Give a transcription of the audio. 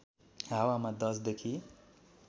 हावामा १० देखि